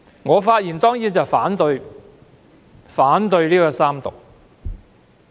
我當然反對三讀《條例草案》。